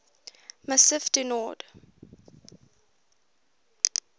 massif du nord